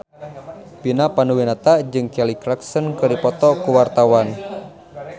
Vina Panduwinata jeung Kelly Clarkson keur dipoto ku wartawan